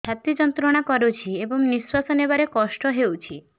ଛାତି ଯନ୍ତ୍ରଣା କରୁଛି ଏବଂ ନିଶ୍ୱାସ ନେବାରେ କଷ୍ଟ ହେଉଛି